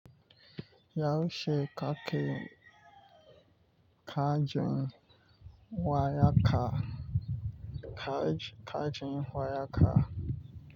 Yaushe kake kajin waya kaj ka kajin waya ka?